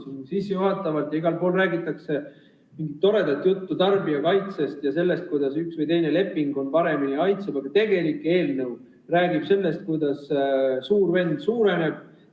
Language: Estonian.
Siin sissejuhatavalt ja igal pool räägitakse mingit toredat juttu tarbijakaitsest ja sellest, kuidas üks või teine leping meid paremini kaitseb, aga tegelik eelnõu räägib sellest, kuidas suur vend suureneb.